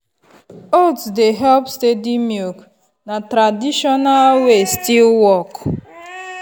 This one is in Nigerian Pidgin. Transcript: oats dey help steady milk na tradition way still work.